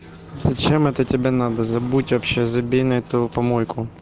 зачем это тебе надо забудь вообще забей на эту помойку